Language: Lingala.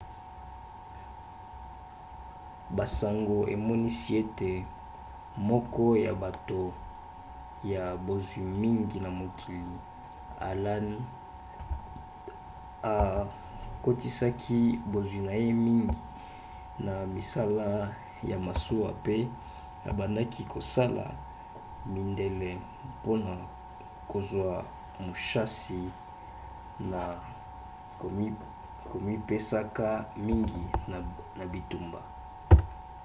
basango emonisi ete moko ya bato ya bozwi mingi na mokili allen akotisaki bozwi na ye mingi na misala ya masuwa pe abandaki kosala milende mpona kozwa mushasi na komipesaka mingi na bitumba